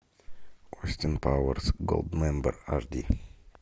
остин пауэрс голдмембер аш ди